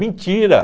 Mentira.